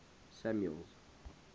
samuel's